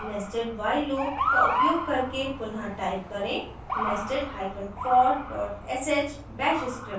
nested while loop का उपयोग करके पुन: टाइप करें nested hyphenfor dot sh bash script